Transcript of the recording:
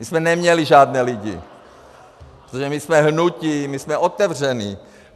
My jsme neměli žádné lidi, protože my jsme hnutí, my jsme otevření.